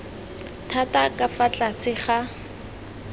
thata ka fa tlase ga